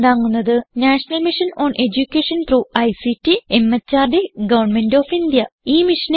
ഇതിനെ പിന്താങ്ങുന്നത് national mission on education through ICT MHRD government of India